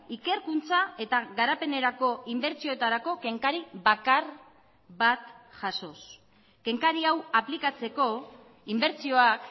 ikerkuntza eta garapenerako inbertsioetarako kenkari bakar bat jasoz kenkari hau aplikatzeko inbertsioak